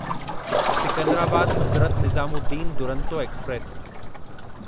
Secunderabad Hazrat Nizamuddin Duronto express